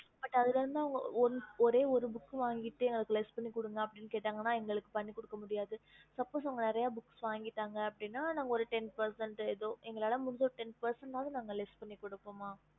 இப்போ வந்துட்டு ஒரு book வாங்கிட்டு பண்ணுகுனு கேட்ட பன்ன முடியாது நீரிய book வங்கிட்டு பண்ணுங்கன்னு கேட்ட ten%leas பண்ணுவோம்